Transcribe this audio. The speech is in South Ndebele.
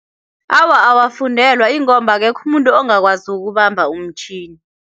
Awa, awafundelwa ingomba akekho umuntu ongakwazi ukubamba umtjhini.